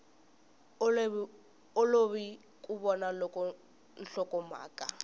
olovi ku vona loko nhlokomhaka